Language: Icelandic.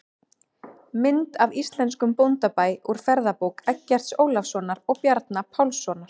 Mynd af íslenskum bóndabæ úr ferðabók Eggerts Ólafssonar og Bjarna Pálssonar.